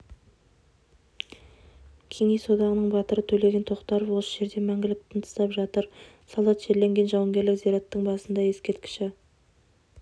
кеңес одағының батыры төлеген тоқтаров осы жерде мәңгілік тыныстап жатыр солдат жерленген жауынгерлік зираттың басында ескерткіші